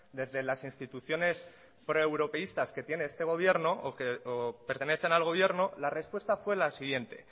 desde las instituciones proeuropeístas que tiene este gobierno o pertenecen al gobierno la respuesta fue la siguiente